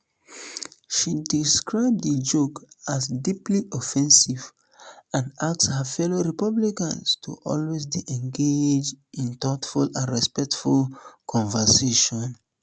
she describe di joke as deeply offensive and ask her fellow republicans to always dey engage in um thoughtful and respectful conversations um